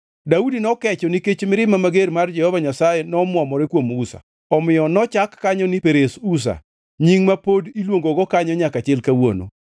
Daudi nokecho nikech mirima mager mar Jehova Nyasaye nomwomore kuom Uza, omiyo nochak kanyo ni Perez Uza, nying ma pod iluongogo kanyo nyaka chil kawuono.